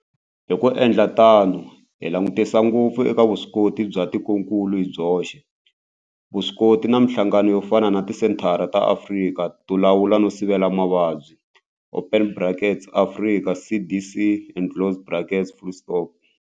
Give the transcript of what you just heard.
Hi ku endla tano hi langutisa ngopfu eka vuswikoti bya tikokulu hi byoxe, vuswikoti na mihlangano yo fana na Tisenthara ta Afrika to Lawula no Sivela Mavabyi open brackets Afrika CDC closed brackets.